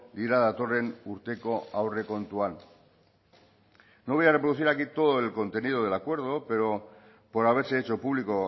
dira datorren urteko aurrekontuan no voy a reproducir aquí todo el contenido del acuerdo por haberse hecho público